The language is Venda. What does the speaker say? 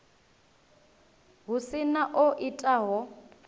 hu si na o itaho